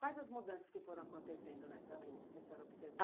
Quais as mudanças que foram acontecendo nessa rua, que a senhora observou?